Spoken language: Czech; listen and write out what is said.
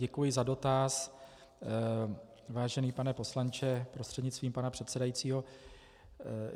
Děkuji za dotaz, vážený pane poslanče prostřednictvím pana předsedajícího.